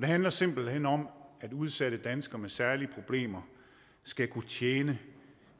det handler simpelt hen om at udsatte danskere med særlige problemer skal kunne tjene